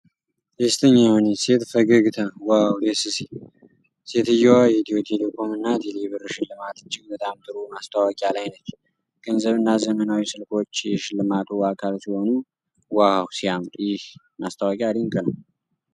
ደስተኛ የሆነች ሴት ፈገግታ ዋው ደስ ሲል! ሴትየዋ የኢትዮ ቴሌኮም እና ቴሌ ብር ሽልማት እጅግ በጣም ጥሩ ማስተዋቂያ ላይ ነች። ገንዘብ እና ዘመናዊ ስልኮች የሽልማቱ አካል ሲሆኑ ዋው ሲያምር! ይህ ማስታወቂያ ድንቅ ነው።